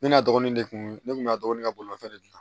Ne n'a dɔgɔnin de kun ne kun y'a dɔgɔnin ka bolimanfɛn de dilan